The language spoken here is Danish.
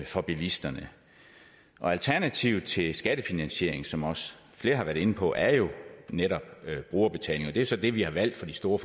for bilisterne alternativet til skattefinansiering som også flere har været inde på er jo netop brugerbetaling og det er så det vi har valgt for de store